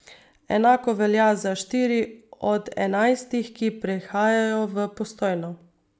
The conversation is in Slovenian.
Enako velja za štiri od enajstih, ki prihajajo v Postojno.